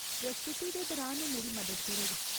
प्रस्तुति दे दरान ओह् मेरी मदद करग।